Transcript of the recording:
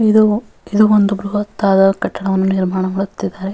ಇದು ಒಂದು ಬ್ರಹತ್ತಾದ ಕಟ್ಟಡವನ್ನು ನಿರ್ಮಾಣ ಮಾಡುತ್ತಿದ್ದಾರೆ.